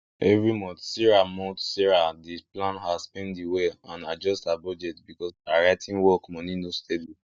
every month sarah month sarah dey plan her spending well and adjust her budget because her writing work money no steady